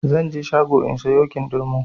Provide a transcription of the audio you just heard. Zanje shago in sayo kindirmo